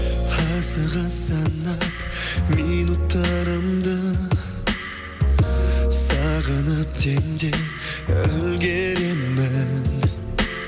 асыға санап минуттарымды сағынып демде үлгеремін